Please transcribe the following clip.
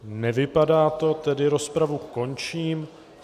Nevypadá to, tedy rozpravu končím.